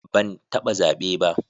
Ban taba zabe ba.